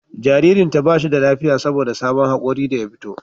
Jaririnta ba shi da lafiya saboda sabon hakori da ya fito